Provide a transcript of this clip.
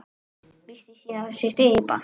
Missti síðan sitt eigið barn.